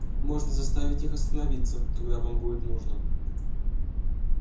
можно заставить их остановиться когда вам будет нужно